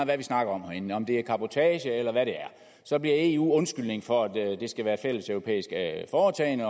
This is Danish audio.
hvad vi snakker om herinde om det er cabotage eller hvad det er så bliver eu undskyldningen for at vi det skal være et fælleseuropæisk foretagende